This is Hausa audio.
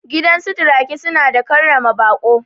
Gidansu turaki suna da karrama baƙo